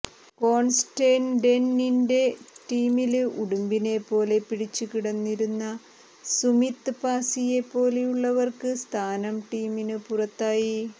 കോണ്സ്റ്റന്റൈനിന്റെ ടീമില് ഉടുമ്പിനെ പോലെ പിടിച്ചു കിടന്നിരുന്ന സുമീത് പാസ്സിയെ പോലെയുള്ളവര്ക്ക് സ്ഥാനം ടീമിനു പുറത്തായി